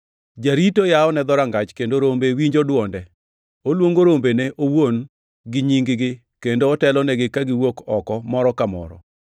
Jarito yawone dhorangach kendo rombe winjo dwonde. Oluongo rombene owuon gi nying-gi kendo otelonegi kagiwuok oko moro ka moro.